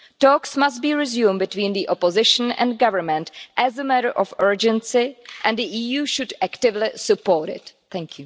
Talks must be resumed between the Opposition and Government as a matter of urgency, and the EU should actively support this.